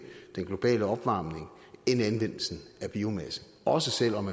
den globale opvarmning end anvendelsen af biomasse også selv om